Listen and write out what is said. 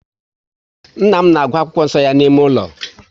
Nna m na agụ akwụkwọ nso ya n'ime ụlọ